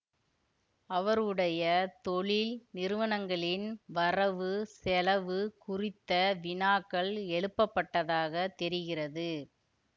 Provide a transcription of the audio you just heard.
அவருடைய தொழில் நிறுவனங்களின் வரவுசெலவு குறித்த வினாக்கள் எழுப்பபட்டதாகத் தெரிகிறது